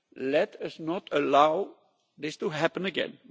Let us not allow this to happen again.